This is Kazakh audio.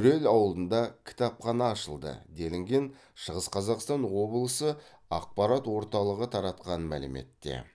өрел ауылында кітапхана ашылды делінген шығыс қазақстан облысы ақпарат орталығы таратқан мәліметте